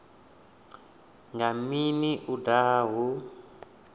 nga mini u daha hu